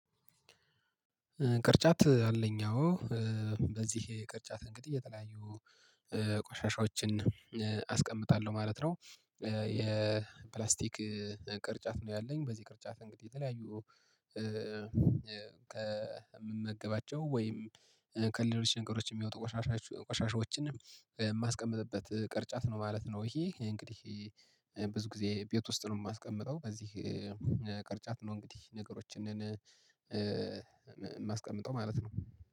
ቅርጫት አለኝ አዎ በዚህ ቅርጫት እንግዲህ የተለያዩ ቆሻሻዎችን አስቀምጣለሁ ማለት ነው። የፕላስቲክ ቅርጫት ነው። ያለኝ በዚህ ቅርጫት እንግዲህ የተለያዩ ከምመገባቸው ወይም ከሌሎች ነገሮች የሚወጡ ቆሻሻዎችንም የማስቀምጥበት ቅርጫት ነው ማለት ነው። ይሄ እንግዲህ ብዙ ጊዜ ቤት ውስጥ ነው የማስቀምጠው በዚህ ቅርጫት ነው። እንግዲህ ነገሮችን የማስቀምጠው ማለት ነው።